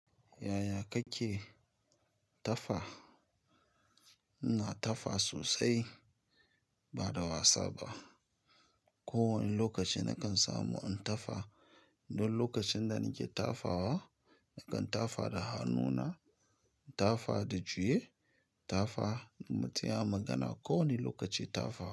Yaya kake tafa? Ina tafa sosai bada wasa ba. Ko wanne lokaci nakan samu in tafa. Don lokacin da nake tafawa, nakan tafa da hannuna, tafa da juye, tafa mu tsaya magana. Ko wanne lokaci tafawa.